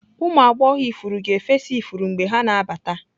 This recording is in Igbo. Ụmụ agbọghọ ifuru ga-efesa ifuru mgbe ha na-abata.